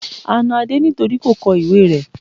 A na Adé nítorí kò kọ ìwée rẹ́.